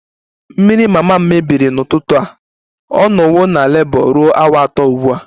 Mmiri mama m mebiri n'ụtụtụ a, ọ nọwo na Labour ruo awa atọ ugbu a